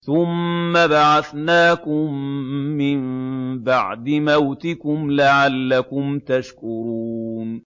ثُمَّ بَعَثْنَاكُم مِّن بَعْدِ مَوْتِكُمْ لَعَلَّكُمْ تَشْكُرُونَ